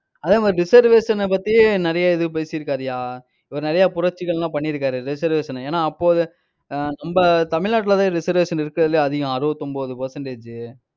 அதே மாதிரி reservation ஐ பத்தி நிறைய இது பேசிருக்காருய்யா. இவர் நிறைய புரட்சிகள் எல்லாம் பண்ணியிருக்காரு reservation ஏன்னா அப்போது ஆஹ் நம்ம தமிழ்நாட்டுலதான் reservation இருக்கறதுலயே அதிகம் அறுபத்து ஒன்பது percentage